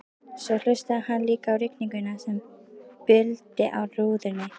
Svo hlustaði hann líka á rigninguna sem buldi á rúðunni.